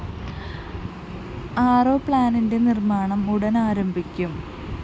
RO പ്ലാന്റിന്റെ നിര്‍മ്മാണം ഉടന്‍ ആരംഭിക്കും